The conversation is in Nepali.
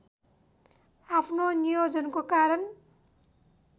आफ्नो नियोजनको कारण